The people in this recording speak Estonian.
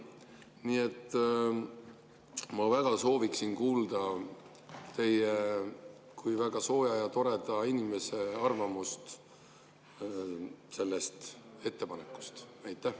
Nii et ma väga sooviksin kuulda teie kui väga sooja ja toreda inimese arvamust selle ettepaneku kohta.